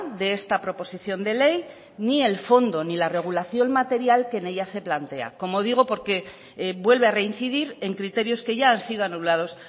de esta proposición de ley ni el fondo ni la regulación material que en ella se plantea como digo porque vuelve a reincidir en criterios que ya han sido anulados